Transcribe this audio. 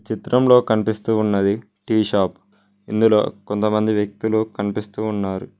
చిత్రం లో కనిపిస్తూ ఉన్నది టీ షాప్ ఇందులో కొంతమంది వ్యక్తులు కనిపిస్తూ ఉన్నారు.